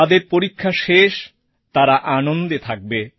যাদের পরীক্ষা শেষ তারা আনন্দে থাকবে